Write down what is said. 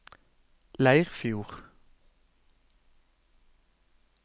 Leirfjord